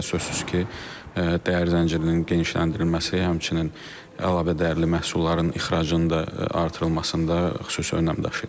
Bu da sözsüz ki, dəyər zəncirinin genişləndirilməsi, həmçinin əlavə dəyərli məhsulların ixracının da artırılmasında xüsusi önəm daşıyır.